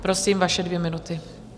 Prosím, vaše dvě minuty.